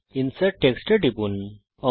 insert text টুলের উপর টিপুন